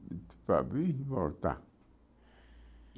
Para vir e voltar.